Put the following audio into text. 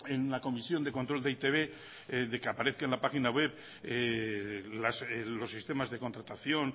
en la comisión de control de e i te be de que aparezca en la página web los sistemas de contratación